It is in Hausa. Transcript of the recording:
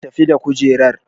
Tafi da kujerar!